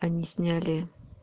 они сняли